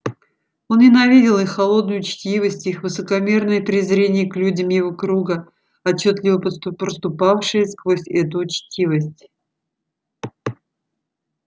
он ненавидел их холодную учтивость их высокомерное презрение к людям его круга отчётливо проступавшее сквозь эту учтивость